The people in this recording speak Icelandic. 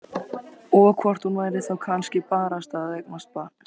Og hvort hún færi þá kannski barasta að eignast barn.